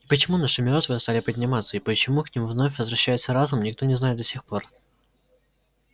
и почему наши мёртвые стали подниматься и почему к ним вновь возвращается разум никто не знает до сих пор